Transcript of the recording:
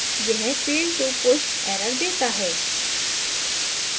यह failed to push error देता है